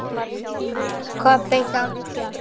Kobbi, hjálp, hjálp.